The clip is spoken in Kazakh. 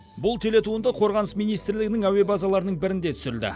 бұл телетуынды қорғаныс министрлігінің әуе базаларының бірінде түсірілді